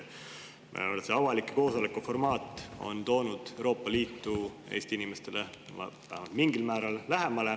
Ma arvan, et see avaliku koosoleku formaat on toonud Euroopa Liitu Eesti inimestele mingil määral lähemale.